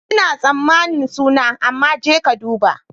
Ina tsammanin suna, amma je ka duba.